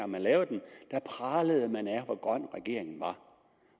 man lavede den pralede man af hvor grøn regeringen var